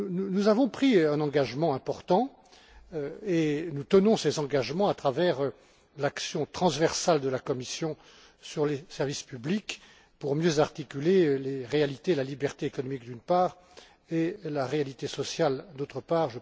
Nous avons pris un engagement important et nous tenons cet engagement à travers l'action transversale de la Commission sur les services publics, pour mieux articuler les réalités et la liberté économique, d'une part, et la réalité sociale, d'autre part.